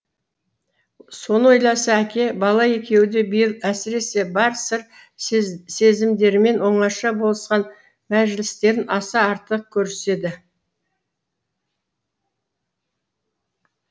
соны ойласа әке бала екеуі де биыл әсіресе бар сыр сезімдерімен оңаша болысқан мәжілістерін аса артық көріседі